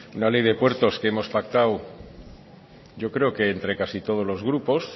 una ley de puertos que hemos pactado yo creo que entre casi todos los grupos